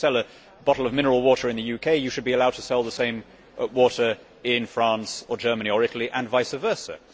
If you can sell a bottle of mineral water in the UK, you should be allowed to sell the same water in France, Germany or Italy and vice versa.